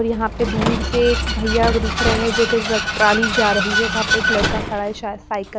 और यहां पे दूर से भैया दिख रहे हैं जो कि ड्रग ट्राली जा रही है वहां पे एक लड़का खड़ा है शायद साइकल --